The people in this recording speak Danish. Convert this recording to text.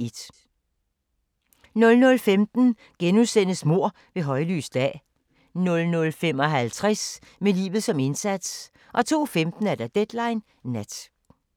00:15: Mord ved højlys dag * 00:55: Med livet som indsats 02:15: Deadline Nat